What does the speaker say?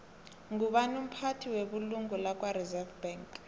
ngubani umphathi webulungo lakwareserve bank